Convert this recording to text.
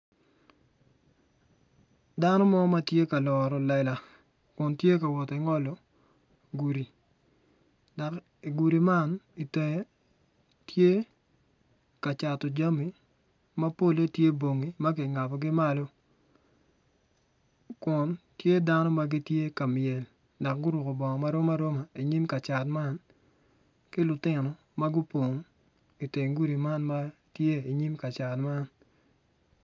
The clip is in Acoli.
Dano mo ma tye ka loro lela kun tye ka woti ngolo gudi dok igudi man itenge tye ka cato jami ma polle tye bongi ma kingabogi malo kun tye dano ma gitye ka myel dok guruko bongo marom aroma inyim ka cat man ki lutino ma guppong iteng gudi man ma tye inyim.